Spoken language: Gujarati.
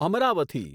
અમરાવથી